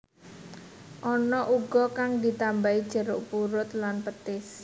Ana uga kang ditambahi jeruk purut lan petis